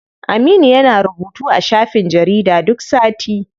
Aminu yana rubutu a shafin jarida duk sati.